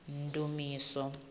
ndumiso